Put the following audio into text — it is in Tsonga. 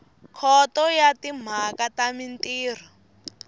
khoto ya timhaka ta mintirho